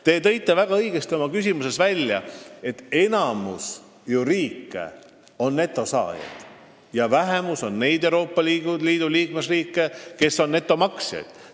Te viitasite oma küsimuses väga õigesti, et enamik liikmesriike on netosaajad ja vähemuses on need, kes on netomaksjad.